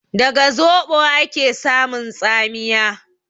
Daga zoɓo ake samun tsamiya?